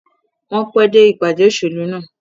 Wọ́n pẹ́ dẹ́ ìpàdé òṣèlú náà.